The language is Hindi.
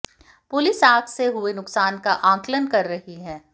पुलिस आग से हुए नुकसान का आकलन कर रही है